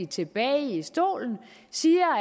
tilbage i stolen og siger